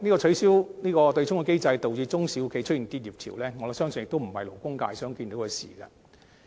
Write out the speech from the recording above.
取消對沖機制導致中小企的結業潮，我相信亦非勞工界想看見的事。